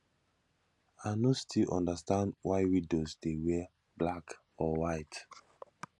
i no still understand why widows dey wear black or white